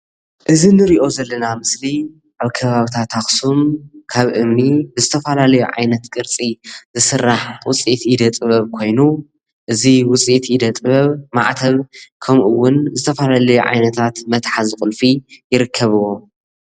እዚ አንሪኦ ዘለና ምስሊ ኣብ ከባቢታት ኣክሱም ካብ እምኒ ዝተፈላለዩ ዓይነት ቅርፂ ዝስራሕ ውፅኢት ኢደ ጥብብ ኮይኑ እዚ ውፅኢት ኢደ ጥብብ ማዕተብ ከምኡ እውን ዝትፈላለዩ ዓይነታት መትሓዚ ቁልፊ ይርከብዎ።